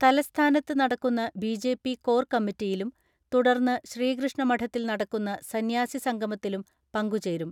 തലസ്ഥാനത്ത് നടക്കുന്ന ബിജെപി കോർ കമ്മിറ്റിയിലും തുടർന്ന് ശ്രീകൃഷ്ണ മഠത്തിൽ നടക്കുന്ന സന്യാസി സംഗമത്തിലും പങ്കുചേരും.